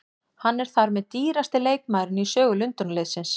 Hann er þar með dýrasti leikmaðurinn í sögu Lundúnarliðsins.